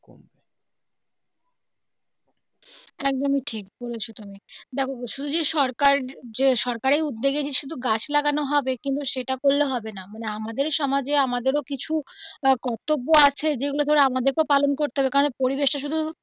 একদমই ঠিক বলেছো তুমি দেখো শুধুই যে সরকার যে সরকারের উদ্যোগে যে শুধু গাছ লাগানো হবে কিন্তু সেটা করলে হবে না মানে আমাদের সমাজে আমাদেরও কিছু আহ কর্তব্য আছে যেগুলো ধরো আমাদেরকেও পালন করতে হবে কারণ পরিবেশটা শুধু.